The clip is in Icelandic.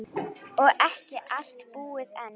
Og ekki allt búið enn.